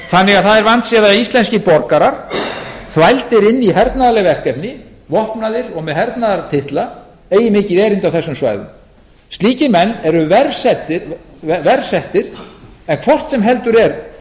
þannig að það er vandséð að íslenskir borgarar þvældir inn í hernaðarleg verkefni vopnaðir og með hernaðartitla eigi mikið erindi á þessum svæðum slíkir menn eru verr settir en hvort sem heldur er